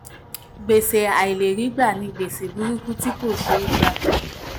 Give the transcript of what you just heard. gbèsè àìlèrígbà ni gbèsè burúkú tí kò ṣé gbà.